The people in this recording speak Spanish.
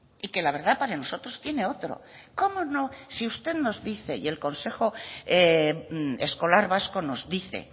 y que la verdad para nosotros tiene otro cómo no si usted nos dice y el consejo escolar vasco nos dice